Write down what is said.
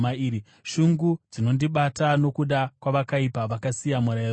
Shungu dzinondibata nokuda kwavakaipa, vakasiya murayiro wenyu.